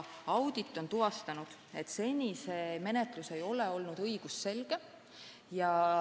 Audit on tuvastanud, et see regulatsioon ei ole olnud õigusselge.